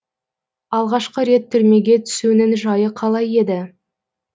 алғашқы рет түрмеге түсуінің жайы қалай еді